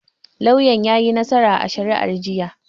Lauyan yayi nassara a shari'ar jiya.